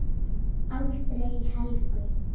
Aldrei Helgu.